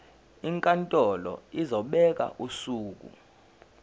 inkantolo izobeka usuku